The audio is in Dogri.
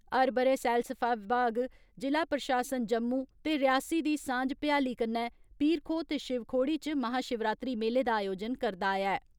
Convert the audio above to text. हर बरे सैलसफा विभाग, जिला प्रशासन जम्मू ते रियासी दी सांझ भयाली कन्नै पीर खो ते शिव खोड़ी च महा शिवरात्री मेले दा आयोजन करदा आया ऐ।